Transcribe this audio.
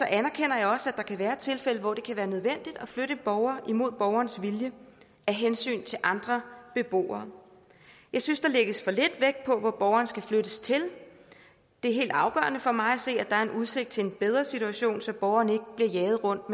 anerkender jeg også at der kan være tilfælde hvor det er nødvendigt at flytte en borger mod borgerens vilje af hensyn til andre beboere jeg synes der lægges for lidt vægt på hvor borgeren skal flyttes til det er helt afgørende for mig at se at der er udsigt til en bedre situation så borgeren ikke bliver jaget rundt